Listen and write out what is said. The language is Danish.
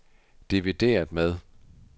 divideret med